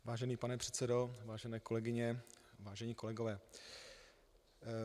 Vážený pane předsedo, vážené kolegyně, vážení kolegové.